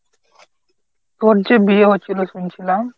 তোর যে বিয়ে হচ্ছিল শুনছিলাম।